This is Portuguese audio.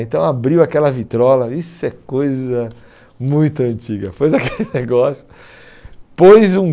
Então abriu aquela vitrola, isso é coisa muito antiga, pôs aquele negócio, pôs um